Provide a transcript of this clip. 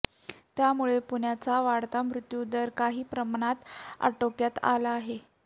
त्यामुळे पुण्याचा वाढता मृत्यू दर काही प्रमाणात आटोक्यात आला आहे